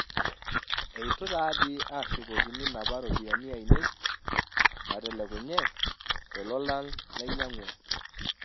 eitu taadi ashukokini napa ropiyani aainei naatelekunye to lolan lainyangua